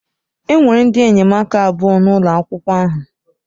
Enwere ndị enyemaka abụọ n'ụlọ akwụkwọ ahụ.